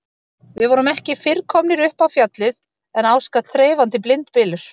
Við vorum ekki fyrr komnir upp á Fjallið en á skall þreifandi blindbylur.